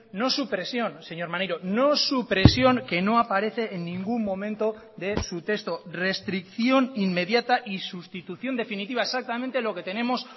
no supresión señor maneiro no supresión que no aparece en ningún momento de su texto restricción inmediata y sustitución definitiva exactamente lo que tenemos